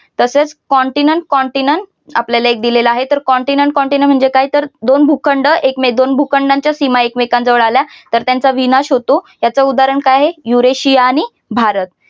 तसेच continent continent आपल्याला एक दिलेलं आहे तर continent continent म्हणजे काय तर दोन भूखंड एकमेक दोन भूखंडानच्या सीमा एकमेकांन जवळ आल्या तर त्यांचा विनाश होतो याच उदाहरण काय आहे यूरेशिया आणि भारत